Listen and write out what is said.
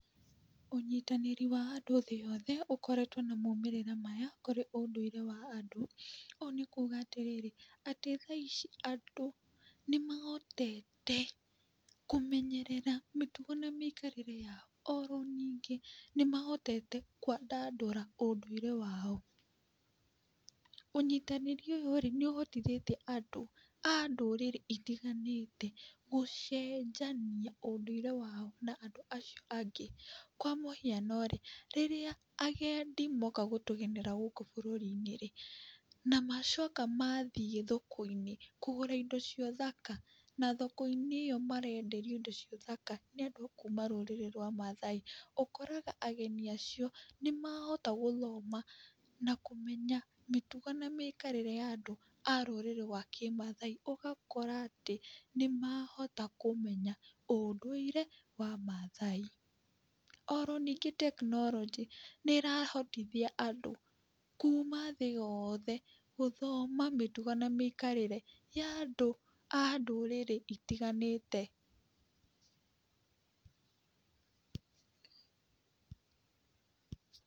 Ũnyitanĩri wa andũ thĩ yothe ũkoretwo na maumĩrĩra maya, kũrĩ ũndũire wa andũ, ũũ nĩ kuga atĩrĩrĩ atĩ thaa ici andũ nĩ mahotete kũmenyerera mĩtugo na mĩikarĩre yao, oro ningĩ nĩ mahotete kwandandũra ũndũire wao, ũnyitanĩri ũyũ-rĩ, nĩ ũhotithĩtie andũ a ndũrĩrĩ itiganĩte, gũcenjania ũndũire wao na andũ acio angĩ, kwa mũhiano-rĩ, rĩrĩ agendi moka gũtũgenera gũkũ bũrũri-inĩ rĩ, na macoka mathiĩ thoko-inĩ kũgũra indo cia ũthaka, na thoko ĩno rĩrĩa marenderio indo cia ũthaka nĩ andũ akuuma rũrĩrĩ rwa mathai, ũkoraga ageni acio nĩ mahota gũthoma na kũmenya mĩtugo na mĩikarĩre ya andũ a rũrĩrĩ rwa kĩmathai, ũgakora atĩ nĩmahota kũmenya ũndũire wa mathai. Oro ningĩ tekinoronjĩ nĩĩrahotithia andũ kuma thĩ yothe gũthoma mĩtugo na mĩikarĩre ya andũ a kuma ndũrĩrĩ itiganĩte.